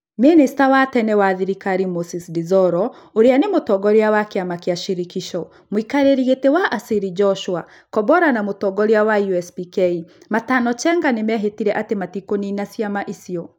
Mĩnĩster wa tene wa thirikari Morris Dzoro ũrĩa nĩ mũtongoria wa kĩama kĩa Shirikisho, mũikarĩri gĩtĩ wa Asili Joshua Kombora na mũtongoria wa USPK Matano Chengo nĩ mehĩtire atĩ matikũnina Cima icio.